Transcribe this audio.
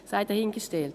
das sei dahingestellt.